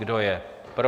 Kdo je pro?